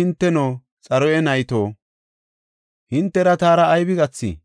Kawoy, “Hinteno, Xaruya nayto, hintera taara aybi gathii?